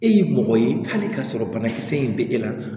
E ye mɔgɔ ye hali ka sɔrɔ banakisɛ in bɛ e la